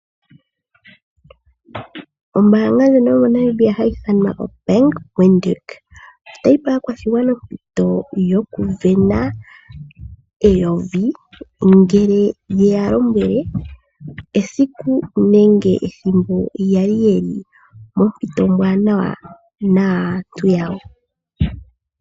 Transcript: Ombaanga ndjono yo moNamibia hayi ithana oBank Windhoek , otayi pe aakwashigwana ompito yokuvena eyovi, ngele yeya lombwele esiku nenge ethimbo yali ye li mompito ombwaanawa naantu yawo.